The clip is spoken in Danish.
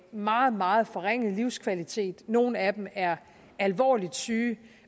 meget meget forringet livskvalitet nogle af dem er alvorligt syge